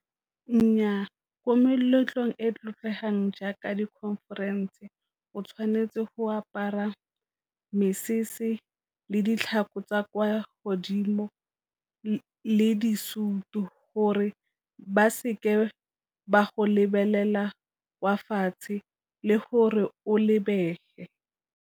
Nnyaa, ko meletlong e e tlotlegang jaaka di-conference o tshwanetse go apara mesese le ditlhako tsa kwa godimo le di situ, gore ba se ke ba go lebelela wa fatshe le gore o lebege.